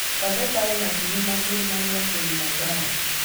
Taveta ĩĩ hakuhĩ na kĩrĩma gĩa Kilimanjaro.